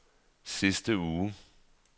sidste uge